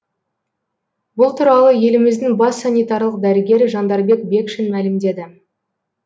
бұл туралы еліміздің бас санитарлық дәрігері жандарбек бекшин мәлімдеді